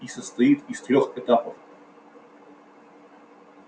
и состоит из трёх этапов